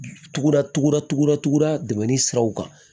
Tuguda tuguda tugu datuguda dɛmɛ ni siraw kan